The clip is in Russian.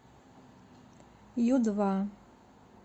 ю два